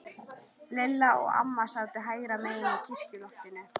Lilla og amma sátu hægra megin á kirkjuloftinu.